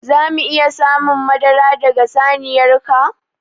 Za mu iya samun madara daga saniyar ka?